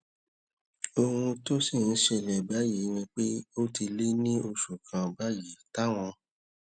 ohun tó sì ń ṣẹlè báyìí ni pé ó ti lé ní oṣù kan báyìí táwọn